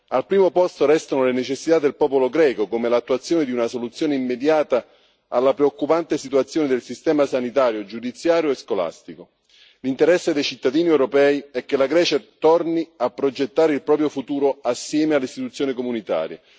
Al primo posto restano le necessità del popolo greco, come l'attuazione di una soluzione immediata alla preoccupante situazione del sistema sanitario, giudiziario e scolastico. L'interesse dei cittadini europei è che la Grecia torni a progettare il proprio futuro assieme alle istituzioni comunitarie.